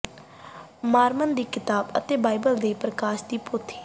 Mormon ਦੀ ਕਿਤਾਬ ਅਤੇ ਬਾਈਬਲ ਦੇ ਪਰਕਾਸ਼ ਦੀ ਪੋਥੀ